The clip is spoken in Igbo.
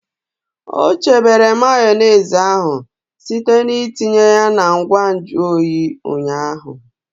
O chebere Mayonezi ahụ site n'itinye ya na ngwa nju oyi ụnyaahụ.